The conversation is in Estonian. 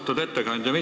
Austatud ettekandja!